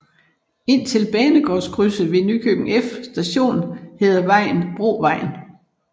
Indtil banegårdskrydset ved Nykøbing F Station hedder vejen Brovejen